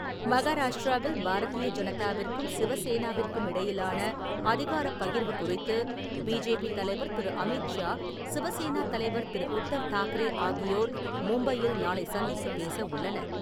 மகாரஷ்டிராவில் பாரதீய ஜனதாவிற்கும், சிவசேனாவிற்கும் இடையிலான அதிகார பகிர்வு குறித்து, பிஜேபி தலைவர் திரு. அமீத் ஷா, சிவசேனா தலைவர் திரு. உத்தவ் தாக்கரே ஆகியோர் மும்பையில் நாளை சந்தித்துப் பேச உள்ளனர்.